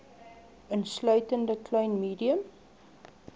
insluitende klein medium